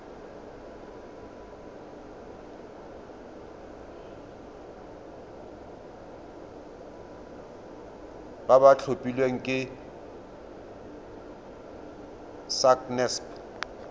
ba ba tlhophilweng ke sacnasp